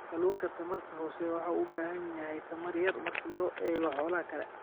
Kalluunka tamarta hooseeya wuxuu u baahan yahay tamar yar marka loo eego xoolaha kale.